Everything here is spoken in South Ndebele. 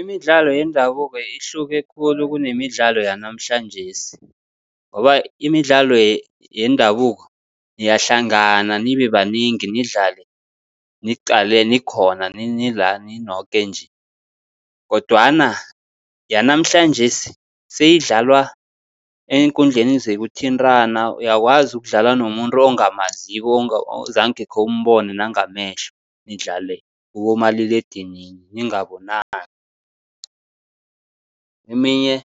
Imidlalo yendabuko ihluke khulu kunemidlalo yanamhlanjesi, ngoba imidlalo yendabuko niyahlangana nibe banengi nidlale nikhona nila ninoke nje. Kodwana yanamhlanjesi seyidlalwa eenkundleni zokuthintana, uyakwazi ukudlala nomuntu ongamaziko, ozange khewumbone nangamehlo, nidlale kibomaliledinini ningabonani. Eminye